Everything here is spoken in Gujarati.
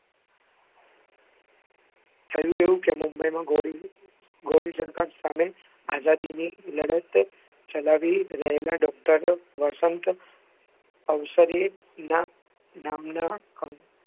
થયું એવું કે મુંબઈમાં ગૌરી ગૌરીશંકર સામે આઝાદીની લડત ચલાવી રહેલાં doctor વસંત અવસરેયનાં નામનાં